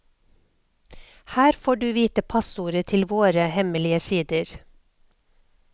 Her får du vite passordet til våre hemmelige sider.